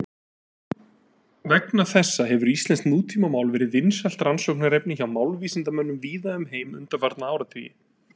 Vegna þessa hefur íslenskt nútímamál verið vinsælt rannsóknarefni hjá málvísindamönnum víða um heim undanfarna áratugi.